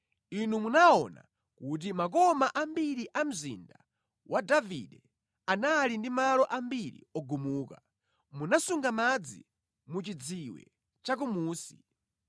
inu munaona kuti makoma ambiri a mzinda wa Davide anali ndi malo ambiri ogumuka; munasunga madzi mu chidziwe chakumunsi.